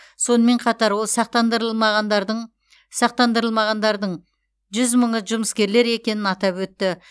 сонымен қатар ол сақтандырылмағандардың жүз мыңы жұмыскерлер екенін атап өтті